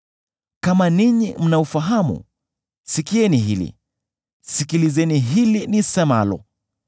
“Kama ninyi mnaufahamu, sikieni hili; sikilizeni hili nisemalo.